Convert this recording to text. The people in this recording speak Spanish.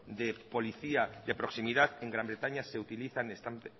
de policía de proximidad en gran bretaña se utilizan están